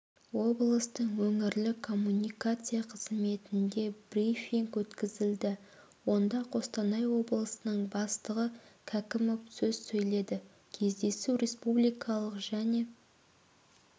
облыстың өңірлік коммуникация қызметінде брифинг өткізілді онда қостанай облысының бастығы кәкімов сөз сөйледі кездесу республикалық және